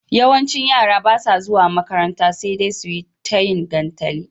yawancin yara basa zuwa makaranta sedai suyi tayin gantali